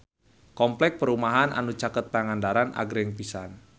Kompleks perumahan anu caket Pangandaran agreng pisan